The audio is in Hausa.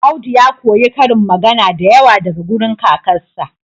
Audi ya koyi karin magana da yawa daga wurin kakarsa